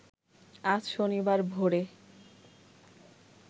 আজ শনিবার ভোরে